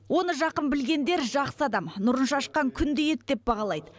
оны жақын білгендер жақсы адам нұрын шашқан күндей еді деп бағалайды